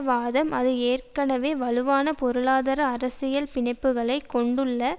வாதம் அது ஏற்கனவே வலுவான பொருளாதார அரசியல் பிணைப்புக்களை கொண்டுள்ள